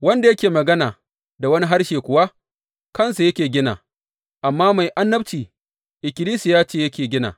Wanda yake magana da wani harshe kuwa, kansa yake gina, amma mai annabci, ikkilisiya ce yake gina.